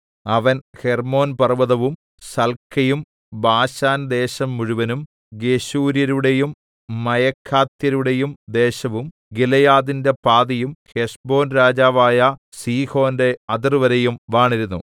അവൻ ഹെർമ്മോൻ പർവ്വതവും സൽക്കയും ബാശാൻ ദേശം മുഴുവനും ഗെശൂര്യരുടെയും മയഖാത്യരുടെയും ദേശവും ഗിലെയാദിന്റെ പാതിയും ഹെശ്ബോൻ രാജാവായ സീഹോന്റെ അതിർവരെയും വാണിരുന്നു